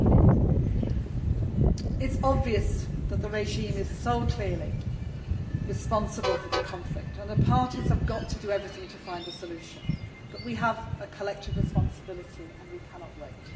It is obvious that the regime is so clearly responsible for the conflict and that the parties have to do everything possible to find a solution, but we have a collective responsibility and we cannot wait.